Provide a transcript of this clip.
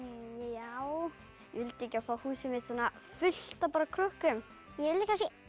já ég vildi ekki fá húsið mitt fullt af bara krökkum ég vil